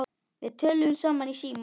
Við töluðum saman í síma.